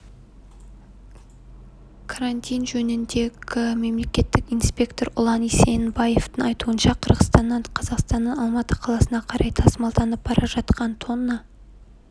карантин жөніндегі мемлекеттік инспектор ұлан есенбаевтың айтуынша қырғызстаннан қазақстанның алматы қаласына қарай тасымалданып бара жатқан тонна